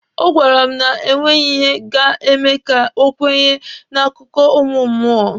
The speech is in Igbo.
Ọ gwara m na e nweghị ihe ga-eme ka o kwenye n'akụkọ ụmụ mmụọ.